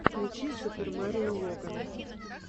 включи супер марио логана